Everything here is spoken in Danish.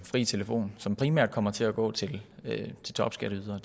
fri telefon som primært kommer til at gå til topskatteydere